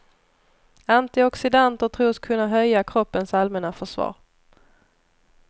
Antioxidanter tros kunna höja kroppens allmänna försvar.